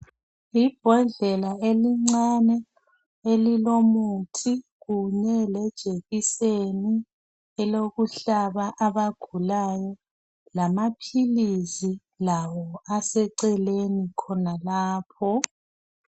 Ibhodlela elincane elilo muthi kunye lejekiseni elokuhlaba abagulayo lamaphilisi lawo aseceleni khonalapho.